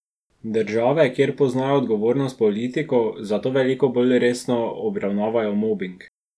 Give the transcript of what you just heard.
Države, kjer poznajo odgovornost politikov, zato veliko bolj resno obravnavajo mobing.